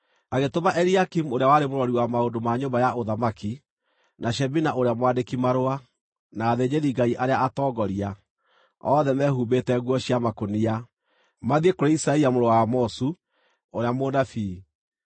Agĩtũma Eliakimu ũrĩa warĩ mũrori wa maũndũ ma nyũmba ya ũthamaki, na Shebina ũrĩa mwandĩki-marũa, na athĩnjĩri-Ngai arĩa atongoria, othe mehumbĩte nguo cia makũnia, mathiĩ kũrĩ Isaia mũrũ wa Amozu, ũrĩa mũnabii.